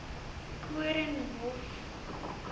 koornhof